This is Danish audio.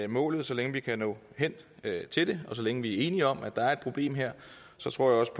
målet så længe vi kan nå hen til det og så længe vi er enige om at der er et problem her så tror jeg også